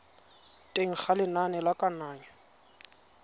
teng ga lenane la kananyo